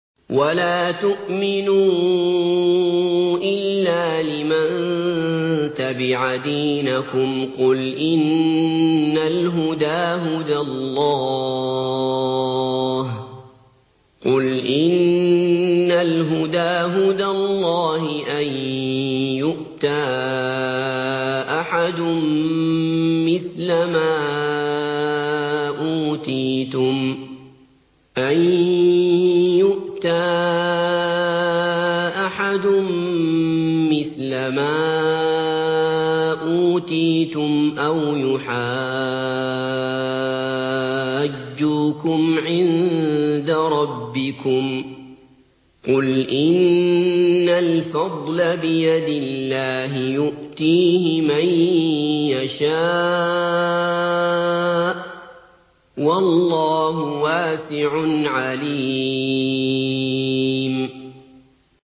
وَلَا تُؤْمِنُوا إِلَّا لِمَن تَبِعَ دِينَكُمْ قُلْ إِنَّ الْهُدَىٰ هُدَى اللَّهِ أَن يُؤْتَىٰ أَحَدٌ مِّثْلَ مَا أُوتِيتُمْ أَوْ يُحَاجُّوكُمْ عِندَ رَبِّكُمْ ۗ قُلْ إِنَّ الْفَضْلَ بِيَدِ اللَّهِ يُؤْتِيهِ مَن يَشَاءُ ۗ وَاللَّهُ وَاسِعٌ عَلِيمٌ